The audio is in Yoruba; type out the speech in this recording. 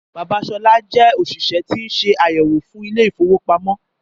Bàbá Sọlá jé òṣìṣẹ́ tí ń ṣe àyẹ̀wò fún Ilé-ìfowópamó.